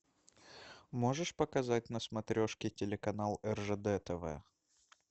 можешь показать на смотрешке телеканал ржд тв